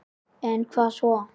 Það hafi vantað í Vík.